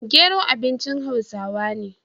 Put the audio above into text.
dawa abincin hausawa ne